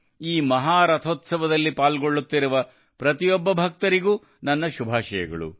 ಈ ಮಹಾರಥೋತ್ಸವದಲ್ಲಿ ಪಾಲ್ಗೊಳ್ಳುತ್ತಿರುವ ಪ್ರತಿಯೊಬ್ಬ ಭಕ್ತರಿಗೂ ನನ್ನ ಶುಭಾಶಯಗಳು